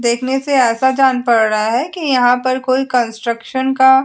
देखने से ऐसा जान पड़ रहा है कि यहां पर कोई कंस्ट्रक्शन का --